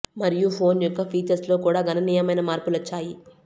మరియు ఫోన్ యొక్క ఫీచర్స్ లో కూడా గణనీయమైన మార్పులు వచ్చాయి